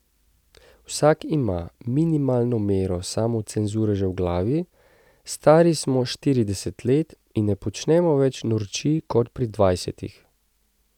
Vsak ima minimalno mero samocenzure že v glavi, stari smo štirideset let in ne počnemo več norčij kot pri dvajsetih.